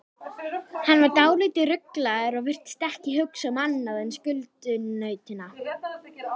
Er málefnalegt af ykkar hálfu að setja þetta mál í forgrunn kjaraviðræðna?